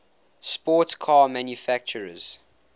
sports car manufacturers